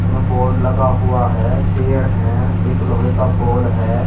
में बोर्ड लगा हुआ है पेड़ है एक लोहे का पोल है।